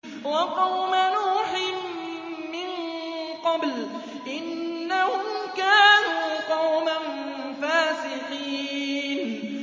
وَقَوْمَ نُوحٍ مِّن قَبْلُ ۖ إِنَّهُمْ كَانُوا قَوْمًا فَاسِقِينَ